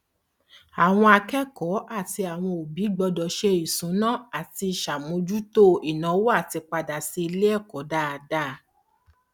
àwọn akẹkọọ àti àwọn òbí gbọdọ se ìṣúná láti sàmójútó ìnàwó àtípàdà sí iléẹkọ dáadá